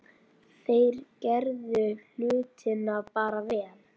Þeir gerðu hlutina bara vel.